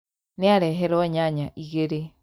Nĩareherwo nyanya igĩrĩ